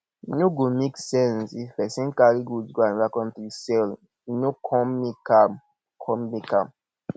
e no go make sense if pesin carry goods go anoda country sell e no come make am come make am